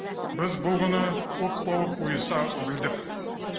біз бұл күні ұлт болып ұйыса білдік